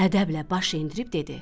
Ədəblə baş endirib dedi: